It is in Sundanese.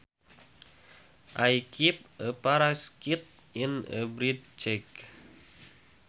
I keep a parakeet in a birdcage